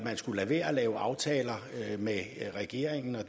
skulle lade være at lave aftaler med regeringen og